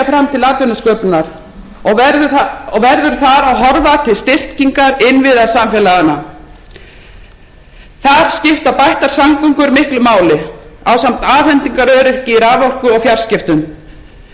fram til atvinnusköpunar og verður þar að horfa til styrkingar innviða samfélaganna þar skipta bættar samgöngur miklu máli ásamt afhendingaröryggi í raforku og fjarskiptum fjölbreyttir menntunarmöguleikar og